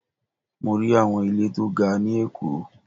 Mo rí àwọn ilé tó ga ni èkó